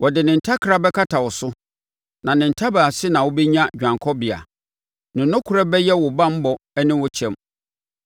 Ɔde ne ntakra bɛkata wo so; na ne ntaban ase na wobɛnya dwanekɔbea; ne nokorɛ bɛyɛ wo banbɔ ne wo kyɛm.